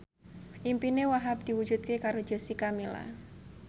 impine Wahhab diwujudke karo Jessica Milla